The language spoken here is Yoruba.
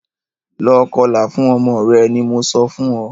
Lọ kọlà fún ọmọ rẹ ní mọ sọ fún óò!